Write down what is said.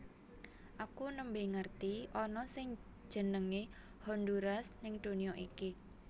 Aku nembe ngerti ana sing jenenge Honduras ning dunya iki